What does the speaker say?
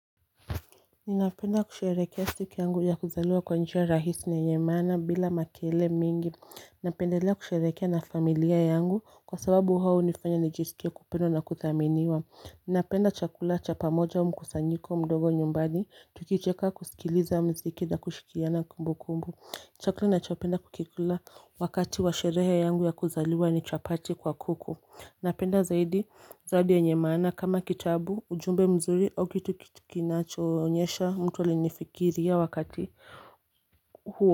Ninapenda kusherehekea siku yangu ya kuzaliwa kwa njia rahisi na yenye maana bila makelele mingi Ninapendalea kusherehekea na familia yangu kwa sababu hao unifanya nijisikie kupendwa na kuthaminiwa Ninapenda chakula cha pamoja au mkusanyiko mdogo nyumbani tukicheka kusikiliza muziki na kushikiana kumbukumbu Chakula ninachopenda kukikula wakati wa sherehe yangu ya kuzaliwa ni chapati kwa kuku Napenda zaidi zawadi yenye maana kama kitabu ujumbe mzuri au kitu kinachoonyesha mtu alinifikiria wakati huo.